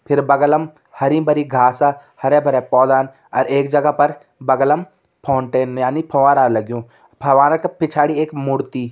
फिर बगलम हरी भरी घासा हरे भरे पौधान अर एक जगह पर बगलम फाउंटेन यानि फंवारा लग्युं अर फंवारा का पिछाड़ी एक मूर्ति।